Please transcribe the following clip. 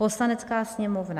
Poslanecká sněmovna